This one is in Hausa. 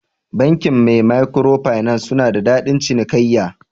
Bankin maikwiro finas suna da dadin cinikaiya.